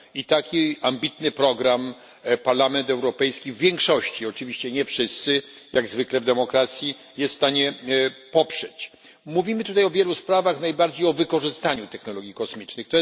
Taki ambitny program Parlament Europejski w większości oczywiście nie wszyscy, jak zwykle w demokracji jest w stanie poprzeć. Mówimy tutaj o wielu sprawach, najbardziej o wykorzystaniu technologii kosmicznych.